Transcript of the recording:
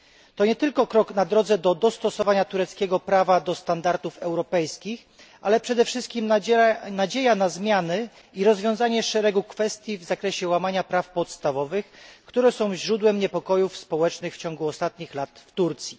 To nie tylko krok na drodze do dostosowania tureckiego prawa do standardów europejskich, ale przede wszystkim nadzieja na zmiany i rozwiązanie szeregu kwestii w zakresie łamania praw podstawowych, które są źródłem niepokojów społecznych w ciągu ostatnich lat w Turcji.